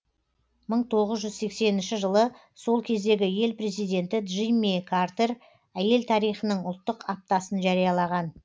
мың тоғыз жүз сексенінші жылы сол кездегі ел президенті джимми картер әйел тарихының ұлттық аптасын жариялаған